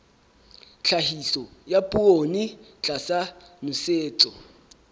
tlhahiso ya poone tlasa nosetso